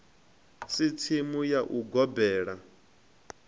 si tsimu ya u gobela